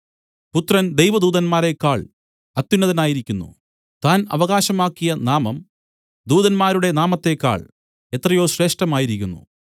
പുത്രന്‍ ദൈവദൂതന്മാരേക്കാൾ അത്യുന്നതനായിരിക്കുന്നു താൻ അവകാശമാക്കിയ നാമം ദൂതന്മാരുടെ നാമത്തേക്കാൾ എത്രയോ ശ്രേഷ്ഠമായിരിക്കുന്നു